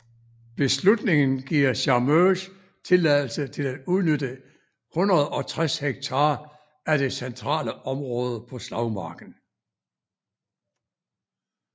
Beslutningen giver Carmeuse tilladelse til at udnytte 160 ha af det centrale område på slagmarken